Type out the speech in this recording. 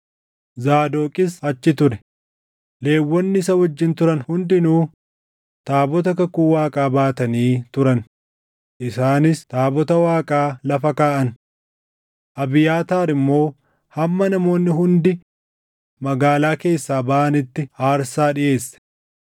Zaadoqis achi ture; Lewwonni isa wajjin turan hundinuu taabota kakuu Waaqaa baatanii turan; isaanis taabota Waaqaa lafa kaaʼan; Abiyaataar immoo hamma namoonni hundi magaalaa keessaa baʼanitti aarsaa dhiʼeesse.